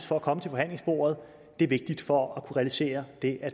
for at komme til forhandlingsbordet er vigtigt for at kunne realisere det at